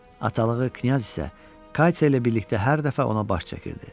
Atalığı knyaz isə Katya ilə birlikdə hər dəfə ona baş çəkirdi.